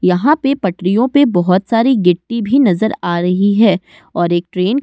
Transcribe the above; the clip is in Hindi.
यहाँ पे पटरियों पे बहोत सारी गिट्टी भी नजर आ रही है और एक ट्रेन --